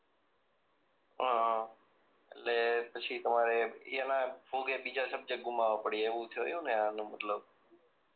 હમ્મ એટલે પછી તમારે એના ભોગે બીજા સબ્જેક્ટ ગુમાવ્યા પડ્યા એવું થયું ને આનો મતલબ